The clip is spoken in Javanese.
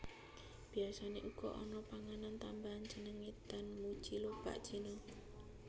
Biasane uga ana panganan tambahan jenenge danmuji lobak cina